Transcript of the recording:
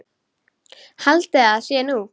Haldiði að það sé nú!